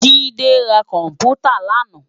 Jide rá kòmpútá làná